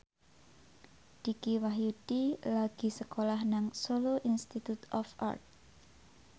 Dicky Wahyudi lagi sekolah nang Solo Institute of Art